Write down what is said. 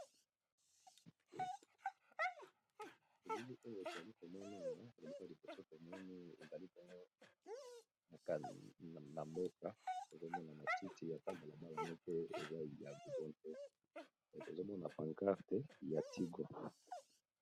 Bilili oyo tozali komona balabala ya munene ya mabele pembeni eza na matiti na batu bazotambola , na likolo eza na pancarte ya tigo.